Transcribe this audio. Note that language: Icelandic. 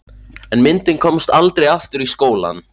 En myndin komst aldrei aftur í skólann.